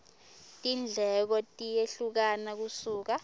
tindleko tiyehlukana kusuka